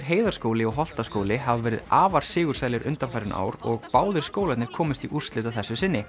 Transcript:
Heiðarskóli og Holtaskóli hafa verið afar sigursælir undanfarin ár og báðir skólarnir komust í úrslit að þessu sinni